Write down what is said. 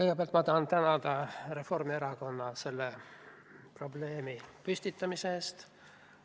Kõigepealt ma tahan tänada Reformierakonda selle probleemi püstitamise eest.